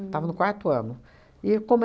Estava no quarto ano. E como